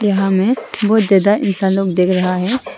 हमें बहोत ज्यादा इंसानों को देख रहा है।